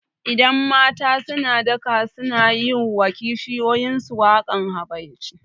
Idan mata suna daka sunayi wa kishiyuyin su wakan habaici